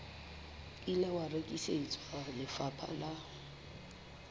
ile wa rekisetswa lefapha la